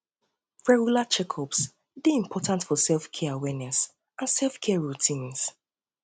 um regular checkups dey important for selfcare awareness and selfcare routines